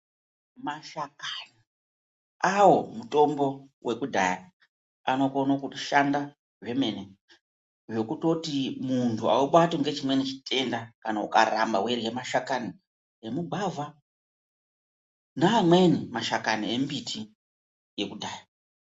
Mashakani awo mutombo wekudhaya anokone kushanda zvemene zvekutoti muntu haubatwi ngechimweni chitenda kana ukaramba weirye mashakani emugwavha neamweni mashakani embiti yekudhaya.